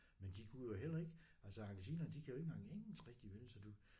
Men de kunne jo heller ikke altså argentinere de kan jo ikke engang engelsk rigtig vel så du